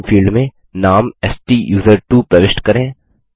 user name field में नाम स्टूसर्टवो प्रविष्ट करें